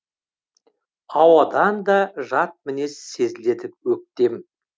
ауадан да жат мінез сезіледі өктем